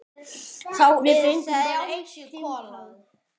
Við fengum bara eitt símtal.